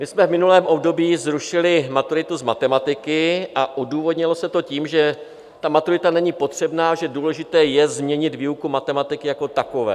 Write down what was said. My jsme v minulém období zrušili maturitu z matematiky a odůvodnilo se to tím, že ta maturita není potřebná, že důležité je změnit výuku matematiky jako takovou.